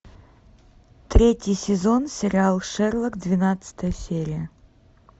третий сезон сериал шерлок двенадцатая серия